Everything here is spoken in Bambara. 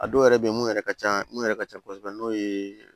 A dɔw yɛrɛ bɛ ye mun yɛrɛ ka ca mun yɛrɛ ka ca kosɛbɛ n'o ye